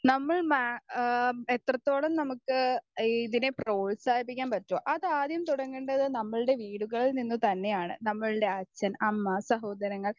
speaker 1 നമ്മൾ മാ ഏഹ് എത്രത്തോളം നമുക്ക് ഇതിനെ പ്രോത്സാഹിപ്പിക്കാൻ പറ്റുവോ അത് ആദ്യം തുടങ്ങേണ്ടത് നമ്മളുടെ വീടുകളിൽ നിന്ന് തന്നെയാണ് നമ്മൾടെ അച്ഛൻ അമ്മ സഹോദരങ്ങൾ